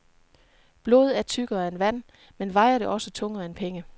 Blod er tykkere end vand, men vejer det også tungere end penge?